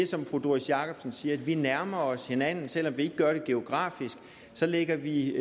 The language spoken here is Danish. som fru doris jakobsen siger at vi nærmer os hinanden selv om vi ikke gør det geografisk lægger vi